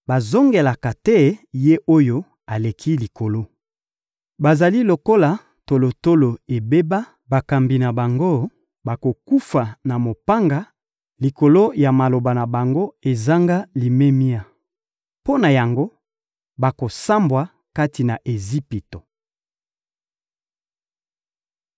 Bazongelaka te Ye-Oyo-Aleki-Likolo, bazali lokola tolotolo ebeba; bakambi na bango bakokufa na mopanga likolo ya maloba na bango ezanga limemia. Mpo na yango, bakosambwa kati na Ejipito.